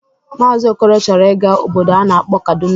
Maazi Okoro chọrọ ịga obodo a na-akpọ Kaduna.